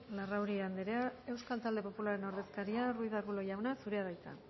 larrauri anderea euskal talde popularraren ordezkaria ruiz de arbulo jauna zurea da hitza